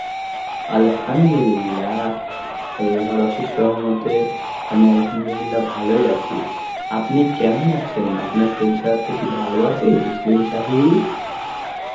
Arbi এর সহমতে আমি Arbi ভালোই আছি. আপনি কেমন আছেন? আপনার শরীর স্বাস্থ্য কি ভালো আছে তসলিম সাহেব?